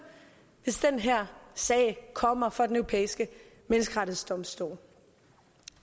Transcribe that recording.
hvis den her sag kommer for den europæiske menneskerettighedsdomstol